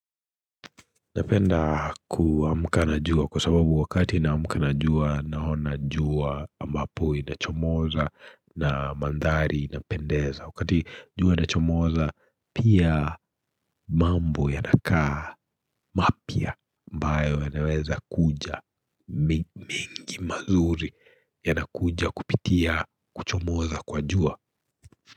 Napenda kuamka na jua kwa sababu wakati naamka na jua naona jua ambapo inachomoza na mandhari inapendeza Wakati jua inachomoza pia mambo yanakaa mapia ambayo yanaweza kuja mengi mazuri yanakuja kupitia kuchomoza kwa jua.